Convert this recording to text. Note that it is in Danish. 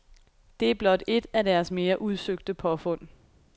Det er blot et af deres mere udsøgte påfund.